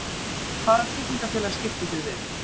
Hvaða tryggingafélag skiptið þið við?